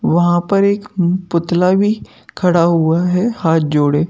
वहाँ पर एक पुतला भी खड़ा हुआ है हाथ जोड़े।